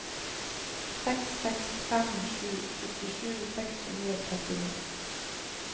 seks seks fem sju syttisju seks hundre og trettini